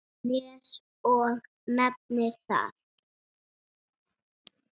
Nes og nefnir það.